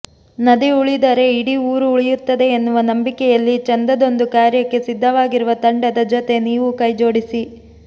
ನದಿ ಉಳಿದರೆ ಇಡೀ ಊರು ಉಳಿಯುತ್ತದೆ ಎನ್ನುವ ನಂಬಿಕೆಯಲ್ಲಿ ಚಂದದ್ದೊಂದು ಕಾರ್ಯಕ್ಕೆ ಸಿದ್ಧವಾಗಿರುವ ತಂಡದ ಜೊತೆ ನೀವೂ ಕೈ ಜೋಡಿಸಿ